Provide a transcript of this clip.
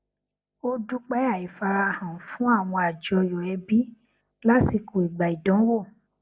ó dúpẹ àìfarahàn fún àwọn àjọyọ ẹbí lásìkò ìgbà ìdánwò